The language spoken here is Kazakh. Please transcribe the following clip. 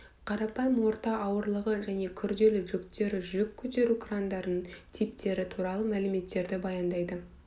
қарапайым орта ауырлығы және күрделі жүктері жүк көтеру крандарының типтері туралы мәліметтерді баяндайды